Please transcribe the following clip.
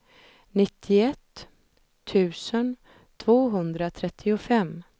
nittioett tusen tvåhundratrettiofem